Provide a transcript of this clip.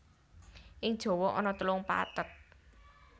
Ing Jawa ana telung pathet